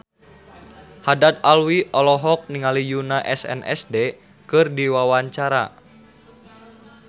Haddad Alwi olohok ningali Yoona SNSD keur diwawancara